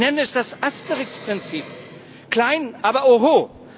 Ich nenne es das Asterix Prinzip klein, aber oho.